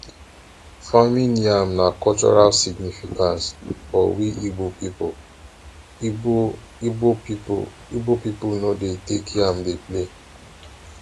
farming yam na cultural significance for we igbo pipo igbo igbo pipo igbo pipo no dey take yam play